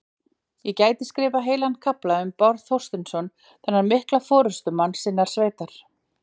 Ég gæti skrifað heilan kafla um Bárð Þorsteinsson, þennan mikla forystumann sinnar sveitar.